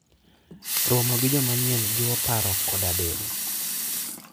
Romo gi joma nyien jiwo paro koda del.